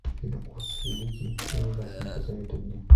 фильм оз великий и ужасный посоветуй мне